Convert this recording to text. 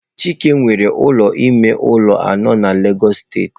Chike nwere ụlọ ime ụlọ anọ na Lagos steeti.